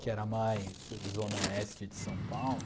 Que era mais zona oeste de São Paulo.